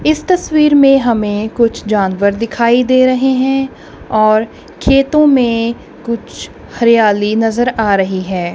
इस तस्वीर में हमें कुछ जानवर दिखाई दे रहे हैं और खेतों में कुछ हरियाली नजर आ रही है।